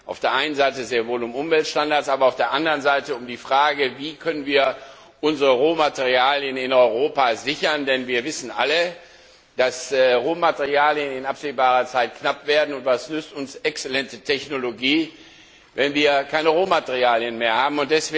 Auf der einen Seite geht es sehr wohl um Umweltstandards, aber auf der anderen Seite auch um die Frage, wie wir unsere Rohmaterialien in Europa sichern können. Denn wir wissen alle, dass Rohmaterialien in absehbarer Zeit knapp werden, und was nützt uns eine exzellente Technologie, wenn wir keine Rohmaterialien mehr haben?